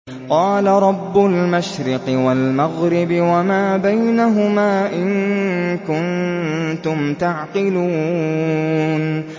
قَالَ رَبُّ الْمَشْرِقِ وَالْمَغْرِبِ وَمَا بَيْنَهُمَا ۖ إِن كُنتُمْ تَعْقِلُونَ